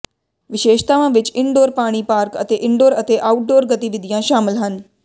ਵਿਸ਼ੇਸ਼ਤਾਵਾਂ ਵਿੱਚ ਇਨਡੋਰ ਪਾਣੀ ਪਾਰਕ ਅਤੇ ਇਨਡੋਰ ਅਤੇ ਆਊਟਡੋਰ ਗਤੀਵਿਧੀਆਂ ਸ਼ਾਮਲ ਹਨ